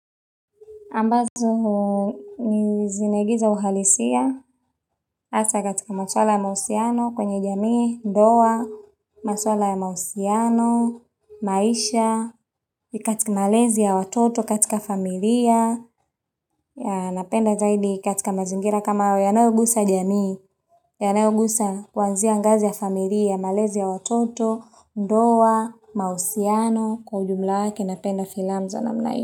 Ambazo ni zinaigiza uhalisia hasa katika maswala ya mahusiano kwenye jamii, ndoa, maswala ya mahusiano, maisha, katika malezi ya watoto katika familia, yeah napenda zaidi katika mazingira kama hayo yanayogusa jamii, yanayogusa kuanzia ngazi ya familia, malezi ya watoto, ndoa, mahusiano, kwa ujumla wake napenda filamu za namna.